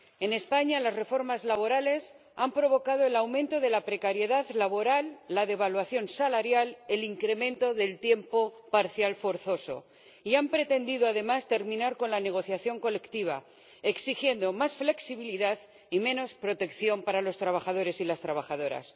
En España las reformas laborales han provocado el aumento de la precariedad laboral, la devaluación salarial y el incremento del tiempo parcial forzoso, y han pretendido, además, terminar con la negociación colectiva, exigiendo más flexibilidad y menos protección para los trabajadores y las trabajadoras.